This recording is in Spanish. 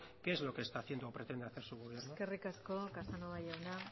qué es lo que está haciendo o pretende hacer su gobierno eskerrik asko casanova jauna